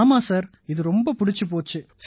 ஆமாம் சார் இது ரொம்ப பிடிச்சுப் போச்சு